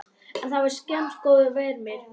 En það var skammgóður vermir.